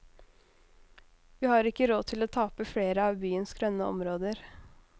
Vi har ikke råd til å tape flere av byens grønne områder.